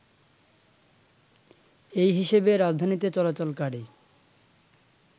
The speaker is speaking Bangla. এই হিসেবে রাজধানীতে চলাচলকারী